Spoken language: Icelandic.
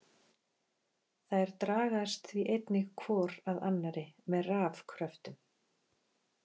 Þær dragast því einnig hvor að annari með rafkröftum.